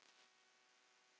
Á árunum